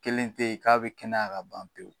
Kelen te yen k'a bi kɛnɛya ka ban pewu